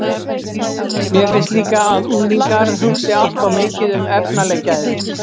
Mér finnst líka að unglingar hugsi allt of mikið um efnaleg gæði.